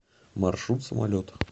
маршрут самолет